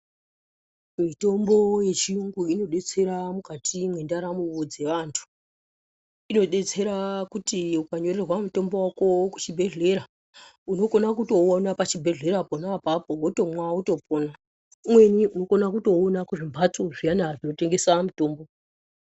Mitombo yechiyungu inodetsera mukati mwendaramo dzevantu. Inodetsera kuti ukanyorerwa mutombo wako kuchibhedhlera, unokona kutoona pachibhedhlera pona apapo wotomwa wotopona. Umweni unokona kutouona kuzvimbatso zviyana zvinotengesa mutombo.